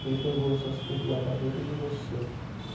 Tudo que é revolução, você tem que guardar dentro de você.